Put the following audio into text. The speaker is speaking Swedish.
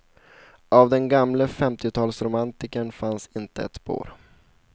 Av den gamle femtiotalsromantikern finns inte ett spår.